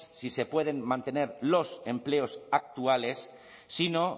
si se pueden mantener los empleos actuales sino